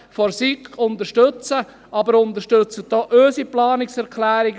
der SiK. Aber unterstützen Sie auch unsere Planungserklärungen.